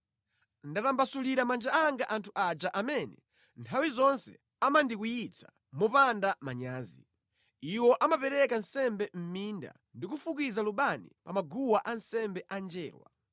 Ndatambasulira manja anga anthu aja amene nthawi zonse amandikwiyitsa mopanda manyazi. Iwo amapereka nsembe mʼminda ndi kufukiza lubani pa maguwa ansembe a njerwa.